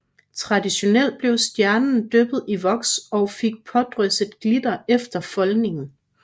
Traditionelt blev stjernen dyppet i voks og fik pådrysset glitter efter foldningen